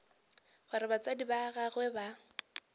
gore batswadi ba gagwe ba